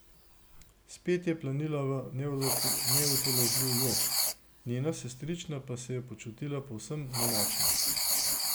Spet je planila v neutolažljivi jok, njena sestrična pa se je počutila povsem nemočno.